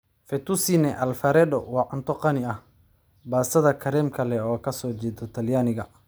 Fettuccine Alfredo waa cunto qani ah, baastada kareemka leh oo ka soo jeeda Talyaaniga.